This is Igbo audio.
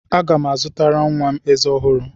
Aga m azụtara nwa m ezé ọhụrụ.